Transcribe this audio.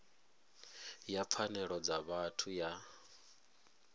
ya pfanelo dza vhathu ya